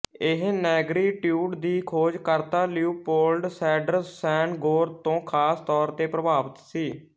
ਇਹ ਨੈਗਰੀਟਿਊਡ ਦੀ ਖੋਜ ਕਰਤਾ ਲਿਓਪੋਲਡ ਸੈਡਰ ਸੈਨਗੋਰ ਤੋਂ ਖ਼ਾਸ ਤੌਰ ਤੇ ਪ੍ਰਭਾਵਿਤ ਸੀ